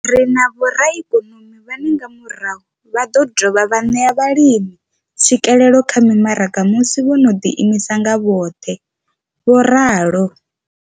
Ri na vhoraikonomi vhane nga murahu vha ḓo dovha vha ṋea vhalimi tswikelelo kha mimaraga musi vho no ḓi imisa nga vhoṱhe, vho ralo.